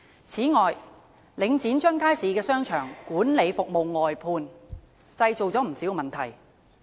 此外，領展將街市商場的管理服務外判，製造不少問題。